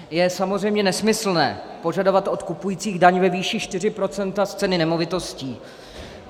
Je samozřejmě nesmyslné požadovat od kupujících daň ve výši 4 % z ceny nemovitosti.